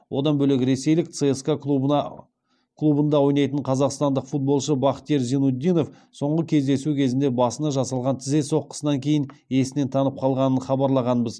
одан бөлек ресейлік цска клубында ойнайтын қазақстандық футболшы бахтиер зайнутдинов соңғы кездесу кезінде басына жасалған тізе соққысынан кейін есінен танып қалғанын хабарлағанбыз